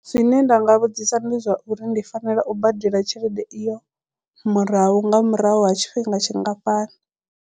Zwine nda nga vhudzisa ndi zwa uri ndi fanela u badela tshelede iyo murahu nga murahu ha tshifhinga tshingafhani.